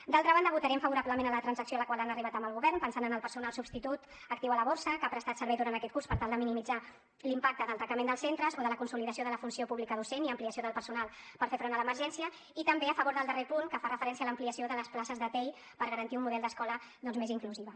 d’altra banda votarem favorablement a la transacció a la qual han arribat amb el govern pensant en el personal substitut actiu a la borsa que ha prestat servei durant aquest curs per tal de minimitzar l’impacte del tancament dels centres o de la consolidació de la funció pública docent i ampliació del personal per fer front a l’emergència i també a favor del darrer punt que fa referència a l’ampliació de les places de tei per garantir un model d’escola més inclusiva